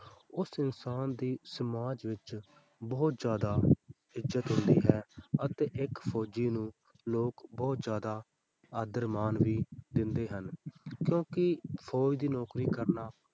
ਉਸ ਇਨਸਾਨ ਦੀ ਸਮਾਜ ਵਿੱਚ ਬਹੁਤ ਜ਼ਿਆਦਾ ਇੱਜ਼ਤ ਹੁੰਦੀ ਹੈ ਅਤੇ ਇੱਕ ਫ਼ੌਜੀ ਨੂੰ ਲੋਕ ਬਹੁਤ ਜ਼ਿਆਦਾ ਆਦਰ ਮਾਣ ਵੀ ਦਿੰਦੇ ਹਨ ਕਿਉਂਕਿ ਫ਼ੌਜ ਦੀ ਨੌਕਰੀ ਕਰਨਾ